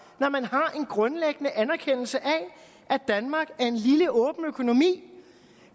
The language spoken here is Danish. når man har en grundlæggende anerkendelse af at danmark er en lille åben økonomi